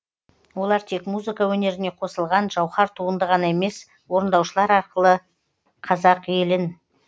олар тек музыка өнеріне қосылғын жауһар туынды ғана емес орындаушылар арқылы қазақ елін